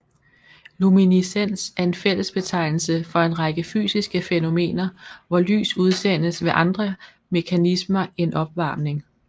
Luminescens er en fællesbetegnelse for en række fysiske fænomener hvor lys udsendes ved andre mekanismer end opvarmning